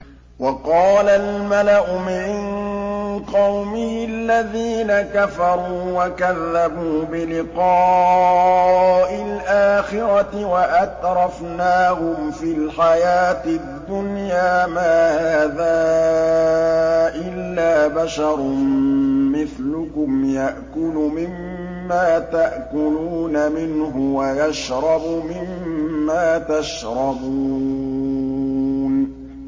وَقَالَ الْمَلَأُ مِن قَوْمِهِ الَّذِينَ كَفَرُوا وَكَذَّبُوا بِلِقَاءِ الْآخِرَةِ وَأَتْرَفْنَاهُمْ فِي الْحَيَاةِ الدُّنْيَا مَا هَٰذَا إِلَّا بَشَرٌ مِّثْلُكُمْ يَأْكُلُ مِمَّا تَأْكُلُونَ مِنْهُ وَيَشْرَبُ مِمَّا تَشْرَبُونَ